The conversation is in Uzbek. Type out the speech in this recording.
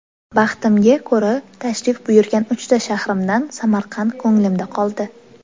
Baxtimga ko‘ra tashrif buyurgan uchta shahrimdan, Samarqand ko‘nglimda qoldi.